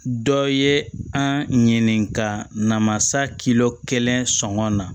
Dɔ ye an ɲininka na masa kilo kelen sɔngɔ na